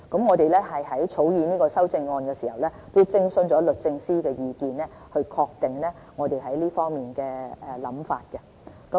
我們在草擬修正案的時候，亦徵詢過律政司的意見，以確定我們在這方面的想法。